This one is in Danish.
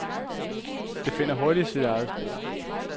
Det finder hurtigt sit eget spor.